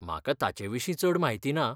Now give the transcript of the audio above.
म्हाका ताचेविशीं चड म्हायती ना.